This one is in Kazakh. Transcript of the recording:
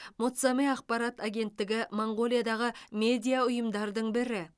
монцамэ ақпарат агенттігі моңғолиядағы медиа ұйымдардың бірі